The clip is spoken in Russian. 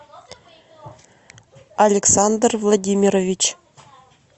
александр владимирович